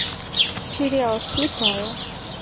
сериал слепая